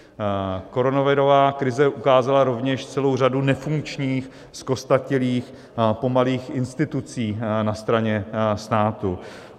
Koronavirová krize ukázala rovněž celou řadu nefunkčních, zkostnatělých, pomalých institucí na straně státu.